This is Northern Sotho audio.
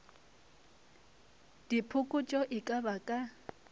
diphokotšo e ka ba ka